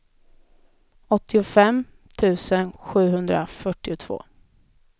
åttiofem tusen sjuhundrafyrtiotvå